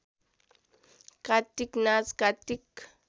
कात्तिक नाच कात्तिक